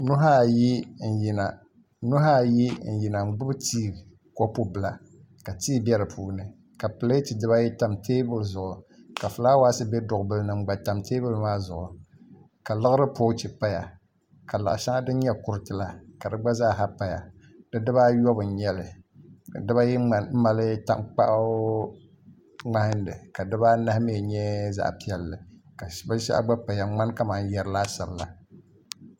Nuhi ayi n yina n gbubi tii kopu bila ka tii bɛ di puuni ka pileet dibayi tam teenuli zuɣu ka fulaawaasi bɛ duɣu bili ni n gba tam teebuli maa zuɣu ka liɣiri poochi paya ka laɣa shɛŋa din nyɛ kuriti la ka di gba zaaha paya di dibaayobu m nyɛli ka dibayi mali tankpaɣu ŋmahanli ka dibaa nahi mii nyɛ zaɣ piɛlli ka binshaɣu gba paya n ŋmani kamani yɛri laasabu la